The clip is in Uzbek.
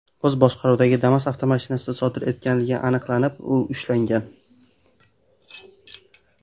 o‘z boshqaruvidagi Damas avtomashinasida sodir etganligi aniqlanib, u ushlangan.